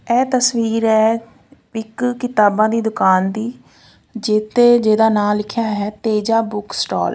ਇਹ ਤਸਵੀਰ ਹੈ ਇੱਕ ਕਿਤਾਬਾਂ ਦੀ ਦੁਕਾਨ ਦੀ ਜਿੱਥੇ ਜਿਹਦਾ ਨਾਂ ਲਿਖਿਆ ਹੈ ਤੇਜਾ ਬੁੱਕ ਸਟਾਲ ।